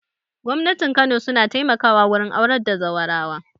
Gwamnatin kano su na taimaka wa wurin aurar da zaurawa